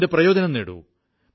ഇതിന്റെ പ്രയോജനം നേടൂ